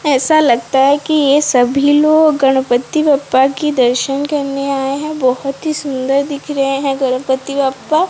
ऐसा लगता है कि ये सभी लोग गणपति बप्पा की दर्शन करने आए हैं बहोत ही सुंदर दिख रहे हैं गणपति बप्पा।